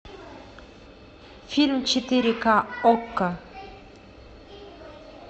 фильм четыре ка окко